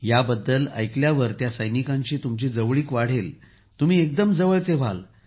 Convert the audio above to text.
याबद्दल ऐकल्यानंतर त्या सैनिकांशी तुमची जवळीक वाढेल तुम्ही एकदम जवळचे व्हाल